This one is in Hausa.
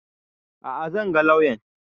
A'a zan ga lauyan